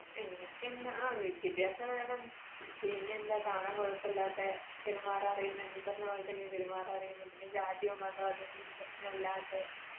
എനിക്ക് ആ വിദ്യാഭ്യാസം വേണം. പിന്നെ എന്താ കാണാൻ കുഴപ്പമില്ലാതെ, പെരുമാറാൻ അറിയുന്നേ ഈ പറഞ്ഞപോലെ തന്നെ പെരുമാറാൻ അറിയുന്ന, പിന്നെ ജാതിയോ മതമോ അതൊന്നും പ്രശ്നം അല്ലാത്തെ